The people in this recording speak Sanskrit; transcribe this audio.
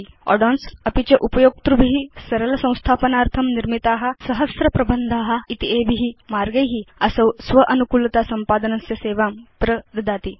add ओन्स् अपि च उपयोक्तृभि सरल संस्थापनार्थं निर्मिता सहस्र प्रबन्धा इत्येभि मार्गै असौ स्वानुकुलतासंपादनस्य सेवां प्रददाति